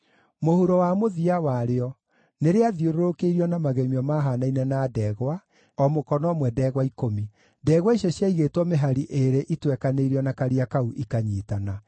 Mũhuro wa mũthia warĩo, nĩrĩathiũrũrũkĩirio na magemio mahaanaine na ndegwa, o mũkono ũmwe ndegwa ikũmi. Ndegwa icio ciaigĩtwo mĩhari ĩĩrĩ itwekanĩirio na Karia kau ikanyiitana.